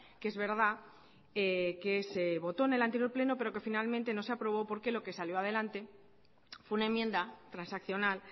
que es verdad que se votó en el anterior pleno pero que finalmente no se aprobó porque lo que salió adelante fue una enmienda transaccional